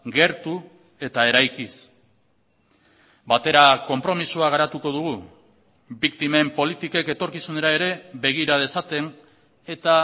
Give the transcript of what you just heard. gertu eta eraikiz batera konpromisoa garatuko dugu biktimen politikek etorkizunera ere begira dezaten eta